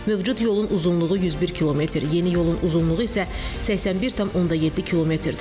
Mövcud yolun uzunluğu 101 km, yeni yolun uzunluğu isə 81,7 kmdir.